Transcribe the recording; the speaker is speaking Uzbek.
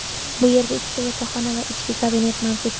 Bu yerda ikkita yotoqxona va ishchi kabinet mavjud.